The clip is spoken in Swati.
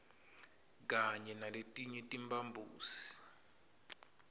kanye naletinye timphambosi